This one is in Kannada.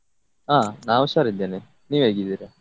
ಹಾ ನಾ ಹುಷಾರಿದ್ದೇನೆ ನೀವ್ ಹೇಗಿದ್ದೀರಾ?